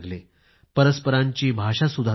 परस्परांची भाषा सुधारू लागले